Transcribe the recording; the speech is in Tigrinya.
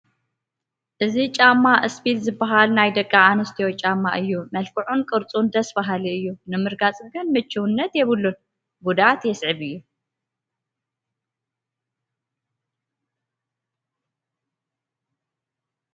እዚ ጫማ ስፒል ዝበሃል ናይ ደቂ ኣንስትዮ ጫማ እዩ፡፡ መልክዑን ቅርፁን ደስ በሃሊ እዩ ንምርጋፅ ግን ምቹውነት የብሉን፡፡ ጉድኣት የስዕብ እዩ፡፡